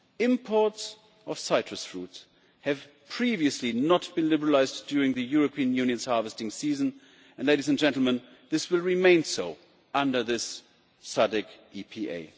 Imports of citrus fruit have previously not been liberalised during the European Union's harvesting season and, ladies and gentlemen, this will remain so under this SADC EPA.